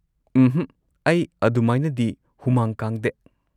ꯎꯝꯍꯛ, ꯑꯩ ꯑꯗꯨꯃꯥꯏꯅꯗꯤ ꯍꯨꯃꯥꯡ ꯀꯥꯡꯗꯦ꯫